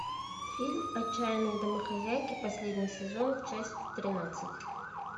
фильм отчаянные домохозяйки последний сезон часть тринадцать